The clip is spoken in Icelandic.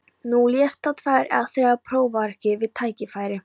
Þú lest þá tvær eða þrjár prófarkir við tækifæri.